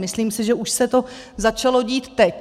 Myslím si, že už se to začalo dít teď.